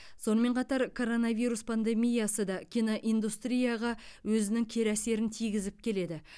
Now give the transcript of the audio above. сонымен қатар коронавирус пандемиясы да киноиндустрияға өзінің кері әсерін тигізіп келеді